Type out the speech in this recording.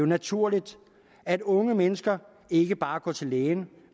naturligt at unge mennesker ikke bare går til lægen